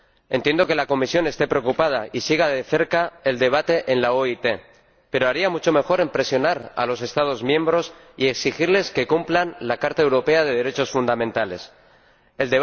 Entiendo que la Comisión esté preocupada y siga de cerca el debate en la OIT, pero haría mucho mejor en presionar a los Estados miembros y exigirles que cumplan la Carta de los Derechos Fundamentales de la Unión Europea.